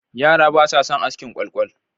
Yara basa son askin kwalkwal.